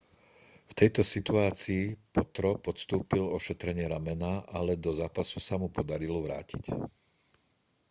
v tejto situácii potro podstúpil ošetrenie ramena ale do zápasu sa mu podarilo vrátiť